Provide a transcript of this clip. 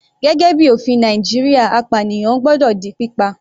Gẹ́gẹ́ bíi ofin Nàìjíríà apànìyàn gbọ́dọ̀ di pípa.